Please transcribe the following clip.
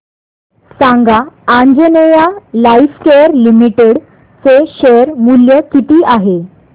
सांगा Anjaneya Lifecare Limited चे share मूल्य किती आहे